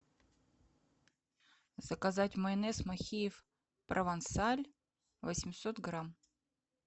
заказать майонез махеев провансаль восемьсот грамм